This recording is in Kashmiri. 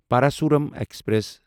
پراسورام ایکسپریس